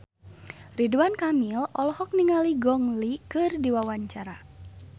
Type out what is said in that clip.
Ridwan Kamil olohok ningali Gong Li keur diwawancara